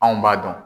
Anw b'a dɔn